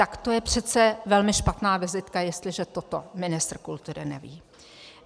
Tak to je přece velmi špatná vizitka, jestliže toto ministr kultury neví.